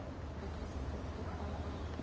ba ka se sa tshepega